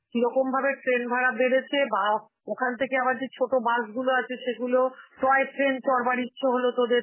কিরকম ভাবে train ভাড়া বেড়েছে বা ও~ ওখান থেকে আবার যে ছোট bus গুলো আছে সেগুলো, toy train সরবার ইচ্ছে হলো তোদের